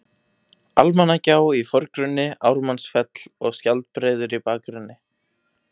Almannagjá í forgrunni, Ármannsfell og Skjaldbreiður í bakgrunni.